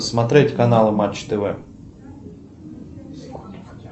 смотреть канал матч тв